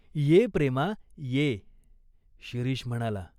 "ये प्रेमा, ये." शिरीष म्हणाला.